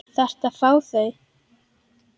Þarftu að fá þau?